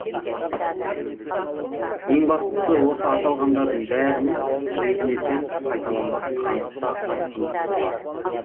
ең бастысы осы аталғандардың бәрінің өзіне тән қайталанбас қанық та айқын түсі бар